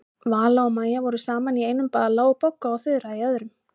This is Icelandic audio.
Vala og Maja voru saman í einum bala og Bogga og Þura í öðrum.